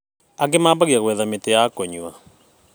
Angĩ mambagia gwetha mĩtĩ ya kũnyua